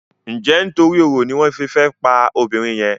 Njé nítorí oro ní wón fè fí pá obìrin yen?